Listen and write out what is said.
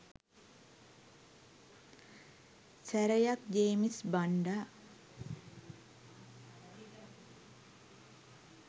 සැරයක් ජේමිස් බණ්ඩා